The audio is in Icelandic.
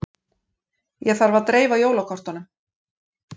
Ég þarf að dreifa jólakortunum.